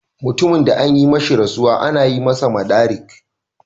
Mutumin de an yi mishi rasuwa, ana masa "madarik".